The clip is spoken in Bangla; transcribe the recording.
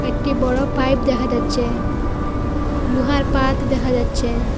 একটি বড়ো পাইপ দেখা যাচ্ছে লোহার পাত দেখা যাচ্ছে।